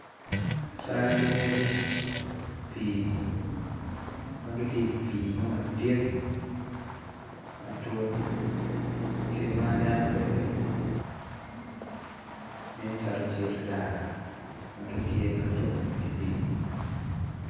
Cal lee til ma gitye i pii mo madit matut kit ma aneno kwede nen calo cal raa ma gitye ka tuko i di pii